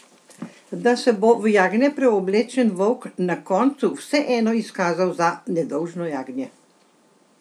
Da se bo v jagnje preoblečen volk na koncu vseeno izkazal za nedolžno jagnje?